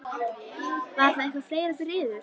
Var það eitthvað fleira fyrir yður?